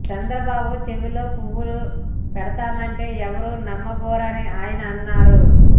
చంద్రబాబు చెవిలో పువ్వు పెడదామంటే ఎవరూ నమ్మబోరని ఆయన అన్నారు